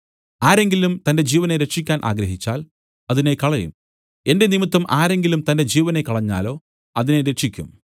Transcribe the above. ആരെങ്കിലും തന്റെ ജീവനെ രക്ഷിക്കാൻ ആഗ്രഹിച്ചാൽ അതിനെ കളയും എന്റെ നിമിത്തം ആരെങ്കിലും തന്റെ ജീവനെ കളഞ്ഞാലോ അതിനെ രക്ഷിക്കും